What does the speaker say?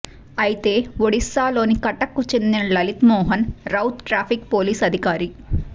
అయితే ఒడిశాలోని కటక్కు చెందిన లలిత్ మోహన్ రౌత్ ట్రాఫిక్ పోలీసు అధికారి